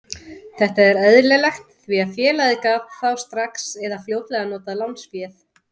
Þetta er eðlilegt því að félagið gat þá strax eða fljótlega notað lánsféð.